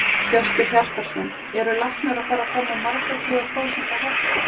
Hjörtur Hjartarson: Eru læknar að fara fram á margra tuga prósenta hækkun?